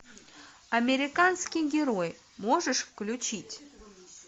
американский герой можешь включить